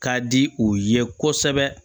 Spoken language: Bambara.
Ka di o ye kosɛbɛ